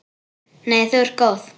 Nei þú ert góð.